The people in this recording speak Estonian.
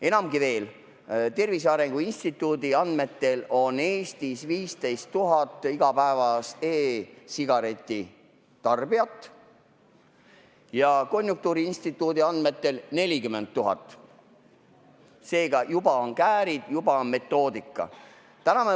Enamatki veel, Tervise Arengu Instituudi andmetel on Eestis 15 000 igapäevast e-sigareti tarbijat ja Konjunktuuriinstituudi andmetel 40 000, seega juba siin on käärid, juba on metoodika.